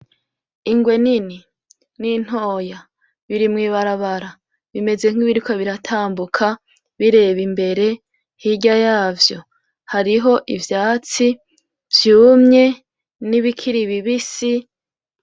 Ingwe nini n'intoya biri mu ibarabara bimeze nkibiriko biratambuka bireba imbere hirya yavyo hariho ivyatsi vyumye n'ibikiri bibisi.